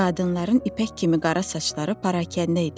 Qadınların ipək kimi qara saçları parakəndə idi.